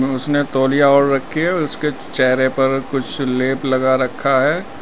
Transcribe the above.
उसने तौलिया ओढ रखी है उसके चेहरे पर कुछ लेप लगा रखा है।